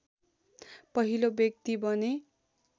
पहिलो व्यक्ति बने